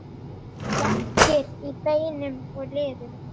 Verkir í beinum og liðum